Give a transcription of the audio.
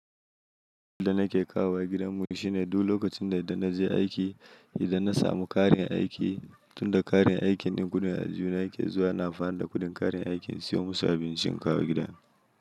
Na ke da nake kawowa gidanmu shine duk lokacin da naje aiki, idan na samu karin aiki, tunda karin aikin ɗin gudu ya jiyo yake zuwa, na fara da kuɗin karin aikin siyo musu abincin in kawo gidan.